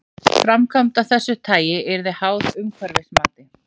Framkvæmd af þessu tagi yrði háð umhverfismati.